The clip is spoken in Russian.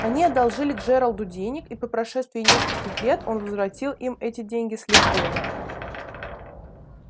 они одолжили джералду денег и по прошествии нескольких лет он возвратил им эти деньги с лихвой